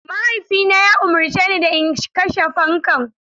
Mahaifina ya umarce ni da in kashe fankan.